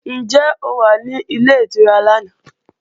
Ǹjẹ́ o wà nílé ìtura lánàá?